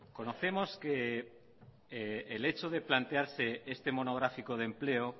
conocemos que el hecho de plantearse este monográfico de empleo